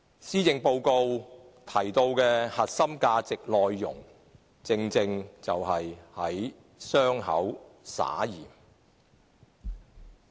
施政報告提到的核心價值內容，正正是在傷口灑鹽。